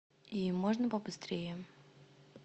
и можно побыстрее